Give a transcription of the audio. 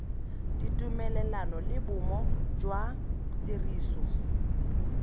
ditumelelano le bomo jwa tiriso